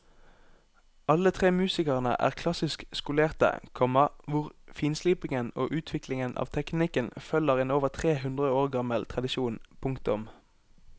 Alle tre musikerne er klassisk skolerte, komma hvor finslipingen og utviklingen av teknikken følger en over tre hundre år gammel tradisjon. punktum